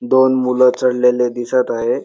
दोन मूल चढलेले दिसत आहे.